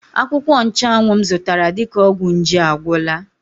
Akwụkwọ Nchanwụ m zụtara dịka ọgwụ nje agwụla.